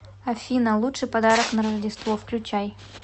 афина лучший подарок на роджество включай